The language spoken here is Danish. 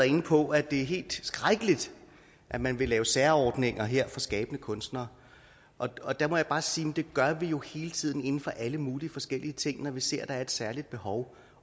inde på at det er helt skrækkeligt at man vil lave særordninger her for skabende kunstnere og der må jeg bare sige at det gør vi jo hele tiden inden for alle mulige forskellige ting når vi ser der er et særligt behov